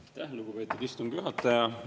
Aitäh, lugupeetud istungi juhataja!